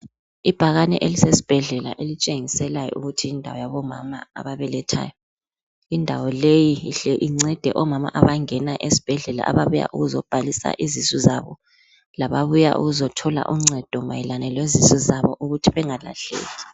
Ibhakane elisesibhedlala elitshengiselayo ukuthi yindawo yabomama ababelethayo. Indawo leyi ihle incede omama abangena esibhedlela ababuya ukuzobhalisa izisu zabo, lababuya ukuzothola uncedo mayelana lezisu zabo ukuthi bengalahleki.